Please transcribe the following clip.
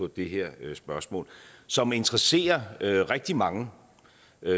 det her spørgsmål som interesserer rigtig mange